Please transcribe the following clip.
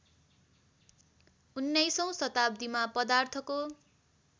१९औँ शताब्दीमा पदार्थको